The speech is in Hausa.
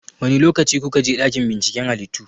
Wane lokaci kuka je dakin binciken halittu?